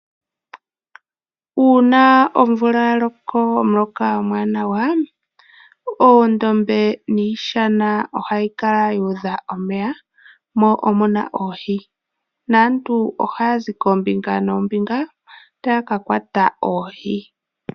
Uuna omvula ya loko omuloka omwaanawa, oondombe niishana ohayi kala yu udha omeya, mo omuna oohi, naantu ohaya zi koombinga noombinga taya ka kwata oohi.